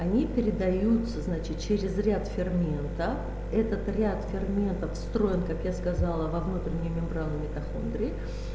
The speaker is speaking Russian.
они передаются значит через ряд ферментов этот ряд ферментов встроен как я сказала во внутренней мембраны митохондрий